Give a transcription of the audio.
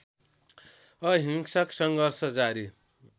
अहिंसक सङ्घर्ष जारी